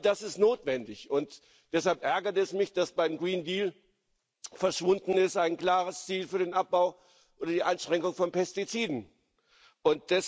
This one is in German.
All das ist notwendig, und deshalb ärgert es mich, dass beim Green Deal ein klares Ziel für den Abbau oder die Einschränkung von Pestiziden verschwunden ist.